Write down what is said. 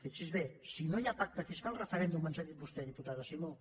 fixi’s bé si no hi ha pacte fiscal referèndum ens ha dit vostè diputada simó